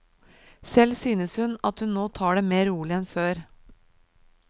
Selv synes hun at hun nå tar det mer rolig enn før.